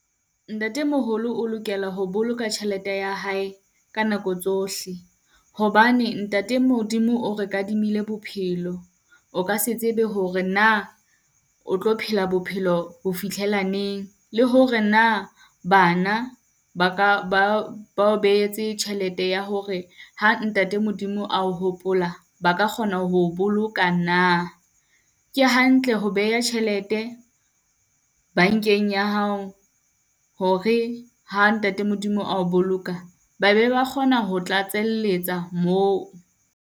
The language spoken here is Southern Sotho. Ntatemoholo o lokela ho boloka tjhelete ya hae ka nako tsohle, hobane ntate Modimo o re kadimile bophelo. O ka se tsebe hore na o tlo phela bophelo ho fihlela neng? Le hore na bana ba ka ba o behetse tjhelete ya hore ha ntate Modimo a o hopola, ba ka kgona ho o boloka na? Ke hantle ho beha tjhelete bankeng ya hao, hore ha ntate Modimo a o boloka babe ba kgona ho tlatselletsa moo.